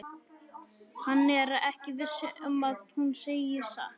Hann er ekki viss um að hún segi satt.